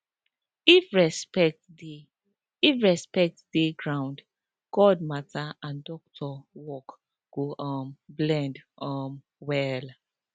if respect dey if respect dey ground god matter and doctor work go um blend um well